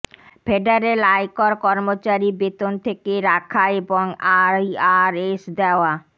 federal আয়কর কর্মচারী বেতন থেকে রাখা এবং আইআরএস দেওয়া